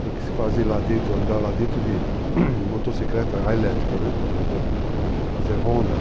Tem que se fazer lá dentro, andar lá dentro de motocicleta, a elétrica, né, pra poder fazer ronda,